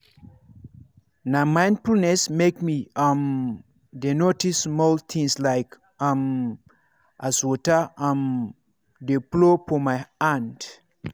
na mindfulness make me um dey notice small things like um as water um dey flow for my hand.